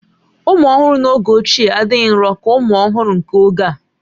Ụmụ ọhụrụ n'oge ochie adịghị nrò ka ụmụ ọhụrụ nke oge a